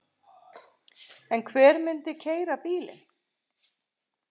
En hver myndi keyra bílinn?